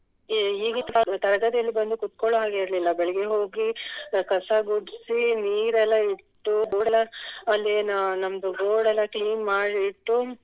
ಈ ಈಗಿನ್ ತರಗತಿಯಲ್ಲಿ ಬಂದು ಕೂತ್ಕೊಳ್ಳುವ ಹಾಗೆ ಇರ್ಲಿಲ್ಲ ಬೆಳಿಗ್ಗೆ ಹೋಗಿ ಕಸ ಗುಡ್ಸಿ ನೀರ್ ಎಲ್ಲ ಇಟ್ಟು ಅಲ್ಲಿನ್ ನಮ್ದು board ಎಲ್ಲ clean ಮಾಡಿ ಇಟ್ಟು